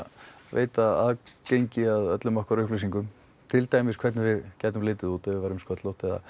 veita aðgengi að öllum okkar upplýsingum til dæmis hvernig við gætum litið út ef við værum sköllótt eða